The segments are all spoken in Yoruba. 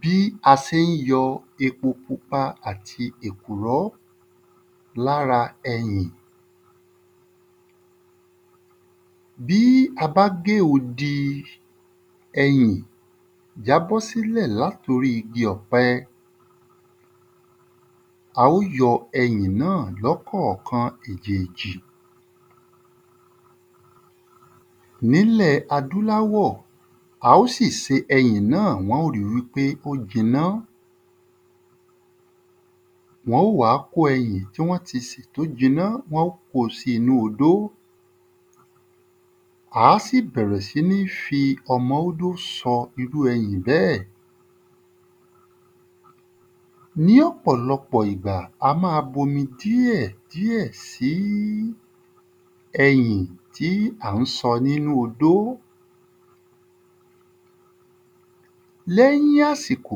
Bí a sé ń yọ epo pupa àti èkùrọ́ l'ára ẹ̀yìn Bí a bá gé odi ẹyìn jábọ́ s’ílẹ̀ l'át’orí igi ọ̀pẹ̀, a ó yọ ẹyìn náà l'ọ́kọ̀kan èjì èjì n'ílẹ̀ adúláwọ̀ a ó sì se ẹyìn náà wọ́n ó ri wí pé ó jiná. Wọ́n ó wá kó ẹyìn tí wọ́n ti sè t'ó jiná wọ́n ko sí inú odó A sì bẹ̀rè si ni fi ọmọ ódó sọ irú ẹyìn bẹ́ẹ̀. Ní ọ̀pọ̀lọpọ̀ ìgbà a má a b'omi díẹ̀ díẹ̀ sí ẹyìn tí à ń sọ n'ínú odo. L’ẹ́yìn àsìkò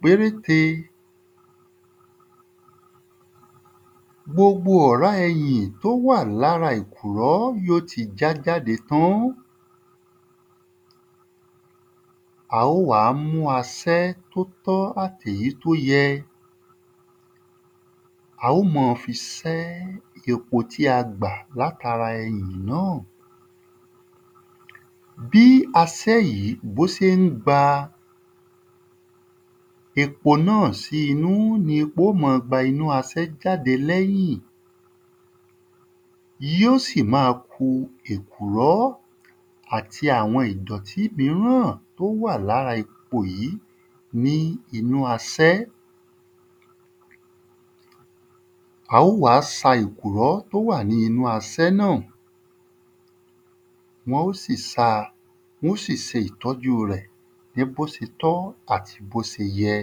pérénte gbogbo ọ̀rá ẹyìn t’ó wà l'ára èkùrọ́ yí ó ti já jáde tán A ó wá mú asẹ́ t’ó ọ́ àt'èyí t'ó yẹ A ó mọ fi sẹ́ epo tí a gbà l'át’ara náà Bí asẹ́ yìí b’ó se ń gba epo náà sí inú ni epo ó ma gba inú asẹ́ jáde l'ẹ́yìn yí ó sì má a ku èkùrọ́ àti àwọn ìdọ̀tí míràn t’ó wà l'ára epo yìí ní inú asẹ́. A ó wá sa èkùrọ́ t'ó wà ní inú asẹ́ náà Wọ́n ó sì sa. Wọ́n ó sì se ìtọ́jú rẹ̀ ní b’ó se tọ́ àti b’ó se yẹ.